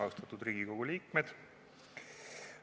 Austatud Riigikogu liikmed!